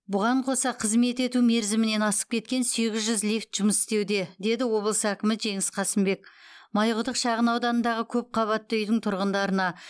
бұған қоса қызмет ету мерзімінен асып кеткен сегіз жүз лифт жұмыс істеуде деді облыс әкімі жеңіс қасымбек майқұдық шағын ауданындағы көпқабатты үйдің тұрғындарына